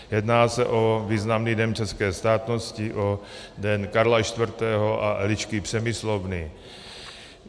Jedná se o významný den české státnosti, o den Karla IV. a Elišky Přemyslovny.